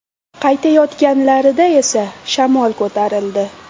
Qaytayotganlarida esa shamol ko‘tarildi.